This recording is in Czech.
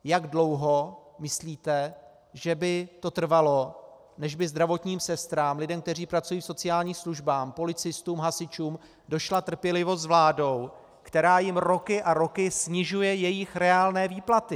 Jak dlouho myslíte, že by to trvalo, než by zdravotním sestrám, lidem, kteří pracují v sociálních službách, policistům, hasičům, došla trpělivost s vládou, která jim roky a roky snižuje jejich reálné výplaty?